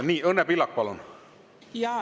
Nii, Õnne Pillak, palun!